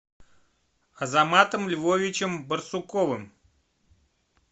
азаматом львовичем барсуковым